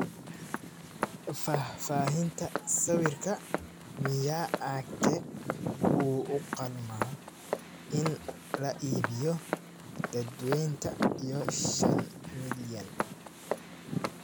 (Independent) Faahfaahinta sawirka, Miyaa Ake u qalmaa in la iibiyo dadawantan iyo shan milyan?